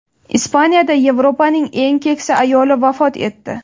Ispaniyada Yevropaning eng keksa ayoli vafot etdi.